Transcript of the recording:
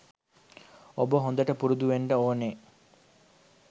ඔබ හොඳට පුරුදු වෙන්නට ඕනෙ